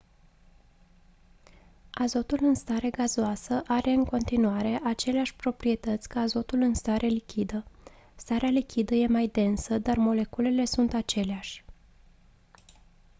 azotul în stare gazoasă are în continuare aceleași proprietăți ca azotul în stare lichidă starea lichidă e mai densă dar moleculele sunt aceleași